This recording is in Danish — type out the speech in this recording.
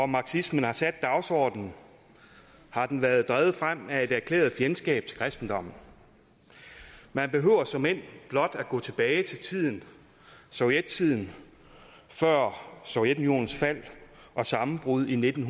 marxismen har sat dagsordenen har den været drevet frem af et erklæret fjendskab til kristendommen man behøver såmænd blot gå tilbage til sovjettiden før sovjetunionens fald og sammenbrud i nitten